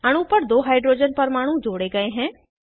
अणु पर दो हाइड्रोजन परमाणु जोड़े गए हैं